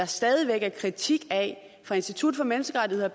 stadig væk er kritik af blandt af institut for menneskerettigheder